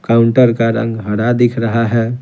Counter का रंग हरा दिख रहा है।